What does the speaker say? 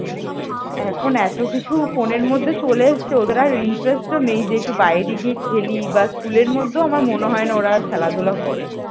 এখন এত কিছু ফোনের মধ্যে চলে এসেছে যে ওদের আর interest নেই যে বাইরে গিয়ে খেলি বা স্কুলের মধ্যেও মনে হয় না যে ওরা খেলাধুলা করে ।